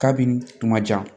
Kabini kuma jan